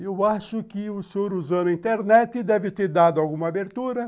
Eu acho que o senhor usando a internet deve ter dado alguma abertura.